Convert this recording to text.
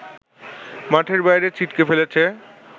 মাঠের বাইরে ছিটকে ফেলেছে